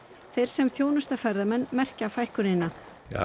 þeir sem þjónusta ferðamenn merkja fækkunina